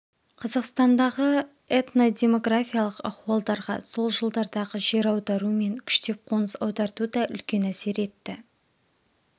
қазақстандағы этнодемографиялық ахуалдарға сол жылдардағы жер аудару мен күштеп қоныс аударту да үлкен әсер етті